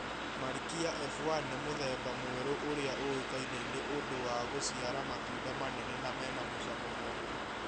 Marikia F1 nĩ mũthemba mũeru ũrĩa ũikaine nĩ ũndũ wa gũciara matunda manene na mena mũcamo mũega